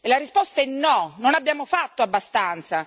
La risposta è no, non abbiamo fatto abbastanza.